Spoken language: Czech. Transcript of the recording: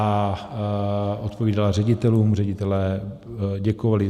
A odpovídala ředitelům, ředitelé děkovali.